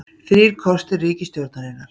Þrír kostir ríkisstjórnarinnar